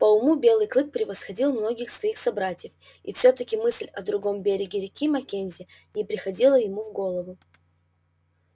по уму белый клык превосходил многих своих собратьев и все таки мысль о другом береге реки маккензи не приходила ему в голову